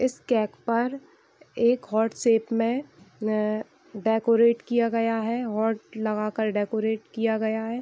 इस केक पर एक हार्ट शेप में अ डेकोरेट किया गया है हार्ट लगाकर डेकोरेट किया गया है।